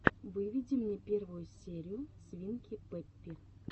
выведи мне первую серию свинки пеппи